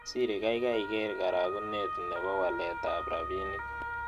Siri gaigai ker karagunet ne po waletap rabinik